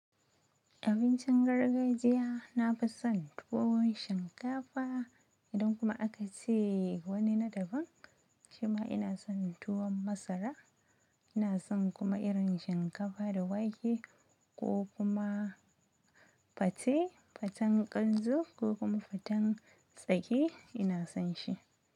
Abincin gargajiya na fi son tuwon shinkafa idan kuma aka ce wani na daban. Shima ina son tuwon masara. Ina son kuma irin shinkafa da wake ko kuma pate, paten kanzu ko kuma faten tsaki ina son shi.